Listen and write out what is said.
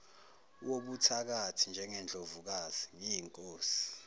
wobuthakathi njengendlovukazi ngiyinkosi